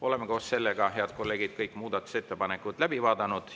Oleme, head kolleegid, kõik muudatusettepanekud läbi vaadanud.